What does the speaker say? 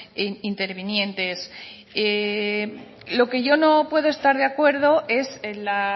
intervinientes lo que yo no puedo estar de acuerdo es en la